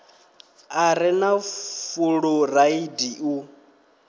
a re na fuloraidi u